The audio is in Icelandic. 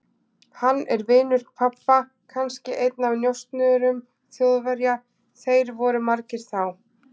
Hann er vinur pabba, kannski einn af njósnurum Þjóðverja, þeir voru margir þá.